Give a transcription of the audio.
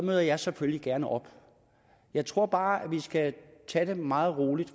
møder jeg selvfølgelig gerne op jeg tror bare at vi skal tage det meget roligt